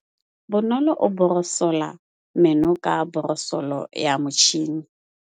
Bonolô o borosola meno ka borosolo ya motšhine.